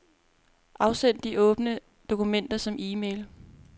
Afsend de åbne dokumenter som e-mail.